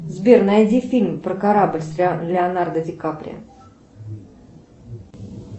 сбер найди фильм про корабль с леонардо ди каприо